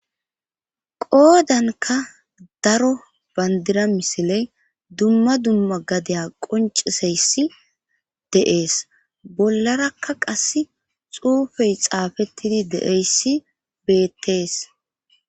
Qoodanka daro bandira misiley dumma dumma gadeya qonciseyssi de7ees bollarakka qass xuufey xaafettidi deeyssi beettees.